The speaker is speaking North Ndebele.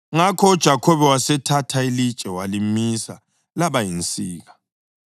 Ngakho uJakhobe wasethatha ilitshe walimisa laba yinsika.